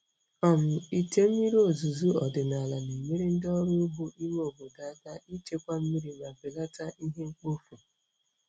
um Ite mmiri ozuzo ọdịnala na-enyere ndị ọrụ ugbo ime obodo aka ichekwa mmiri ma belata ihe mkpofu.